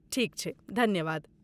ठीक छै, धन्यवाद।